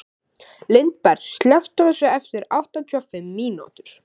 Lindberg, slökktu á þessu eftir áttatíu og fimm mínútur.